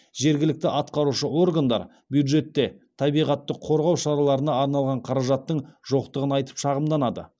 жергілікті атқарушы органдар бюджетте табиғатты қорғау шараларына арналған қаражаттың жоқтығын айтып шағымданады